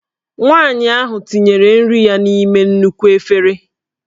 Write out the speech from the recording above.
Nwanyị ahụ tinyere nri ya n'ime nnukwu efere